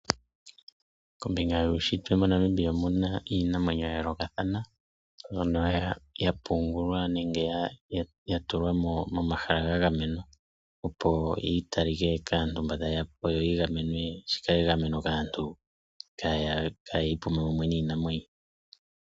Kombinga yuushitwe moNamibia omuna iinamweyo ya yolokathana mbyono yapungulwa nenge ya tulwa momahala ga gamenwa opo yi tali ke kaantu mba taye yapo yo yigamenwe, shikale egameno kaantu kaya ipume mumwe niinamwenyo.